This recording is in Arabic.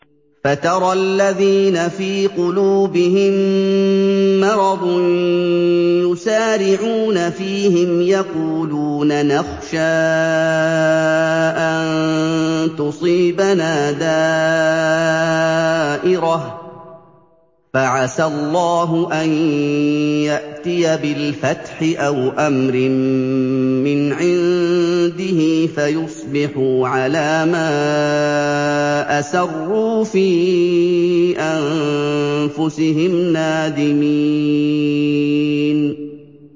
فَتَرَى الَّذِينَ فِي قُلُوبِهِم مَّرَضٌ يُسَارِعُونَ فِيهِمْ يَقُولُونَ نَخْشَىٰ أَن تُصِيبَنَا دَائِرَةٌ ۚ فَعَسَى اللَّهُ أَن يَأْتِيَ بِالْفَتْحِ أَوْ أَمْرٍ مِّنْ عِندِهِ فَيُصْبِحُوا عَلَىٰ مَا أَسَرُّوا فِي أَنفُسِهِمْ نَادِمِينَ